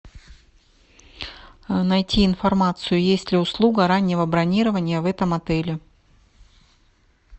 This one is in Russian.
найти информацию есть ли услуга раннего бронирования в этом отеле